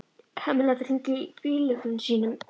Hemmi lætur hringla í bíllyklunum sínum.